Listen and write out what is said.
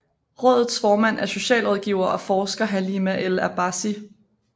Rådets formand er socialrådgiver og forsker Halima El Abassi